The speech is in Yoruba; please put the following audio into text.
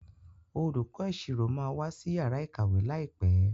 Olùkó ìṣirò má wá sí Yàrá ìkàwé láìpé.